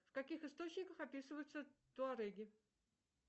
в каких источниках описываются туареги